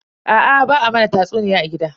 Aa ba a mana tatsuniya a gida.